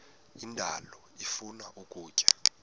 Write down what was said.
indalo ifuna ukutya